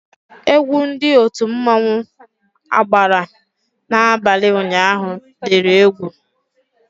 Egwu Ndị otu mmanwu agbara n'abalị ụnyaahụ diri egwú